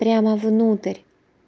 прямо внутрь